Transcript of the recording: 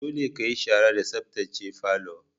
Dolle ka yi shara da sabtace falon!